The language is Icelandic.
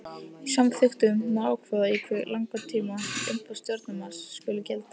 Í samþykktum má ákveða í hve langan tíma umboð stjórnarmanns skuli gilda.